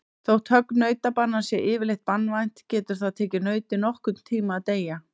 Þó högg nautabanans sé yfirleitt banvænt getur það tekið nautið nokkurn tíma að deyja.